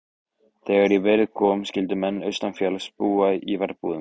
Þegar í verið kom skyldu menn austanfjalls búa í verbúðum.